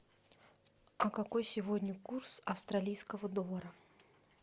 какой сегодня курс австралийского доллара